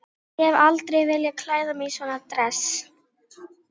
Ég hef aldrei viljað klæða mig í svona dress.